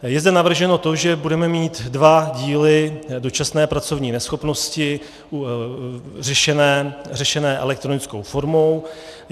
Je zde navrženo to, že budeme mít dva díly dočasné pracovní neschopnosti řešené elektronickou formou.